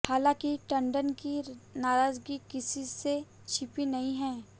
हालांकि टंडन की नाराजगी किसी से छिपी नहीं है